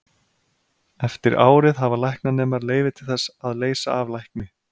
Eftir árið hafa læknanemar leyfi til þess að leysa af lækni.